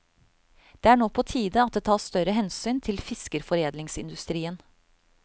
Det er nå på tide at det tas større hensyn til fiskeforedlingsindustrien.